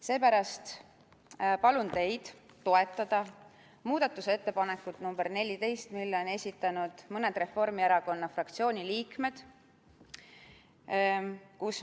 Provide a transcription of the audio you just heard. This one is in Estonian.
Seepärast palun teid toetada muudatusettepanekut nr 14, mille on esitanud mõned Reformierakonna fraktsiooni liikmed.